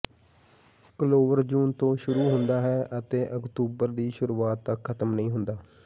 clover ਜੂਨ ਤੋਂ ਸ਼ੁਰੂ ਹੁੰਦਾ ਹੈ ਅਤੇ ਅਕਤੂਬਰ ਦੀ ਸ਼ੁਰੂਆਤ ਤੱਕ ਖ਼ਤਮ ਨਹੀਂ ਹੁੰਦਾ